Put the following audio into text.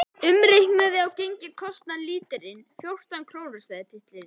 Umreiknað á gengi kostar lítrinn fjórtán krónur, sagði pilturinn.